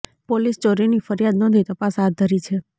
police ચોરીની ફરિયાદ નોંધી તપાસ હાથ ધરી છે